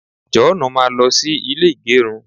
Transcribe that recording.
joonu, máa lo sí ilè igerun